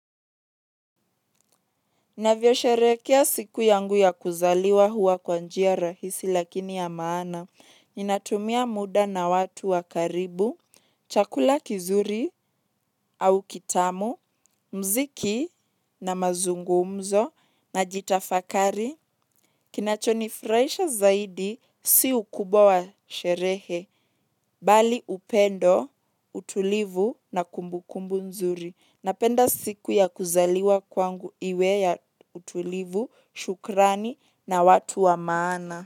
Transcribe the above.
Navyosherekea siku yangu ya kuzaliwa huwa kwa njia rahisi lakini ya maana. Ninatumia muda na watu wa karibu, chakula kizuri au kitamu, mziki najitafakari. Kinachonifurahisha zaidi si ukubwa sherehe, bali upendo, utulivu na kumbukumbu nzuri. Napenda siku ya kuzaliwa kwangu iwe ya utulivu, shukrani na watu wa maana.